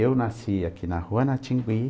Eu nasci aqui na Rua Natingui.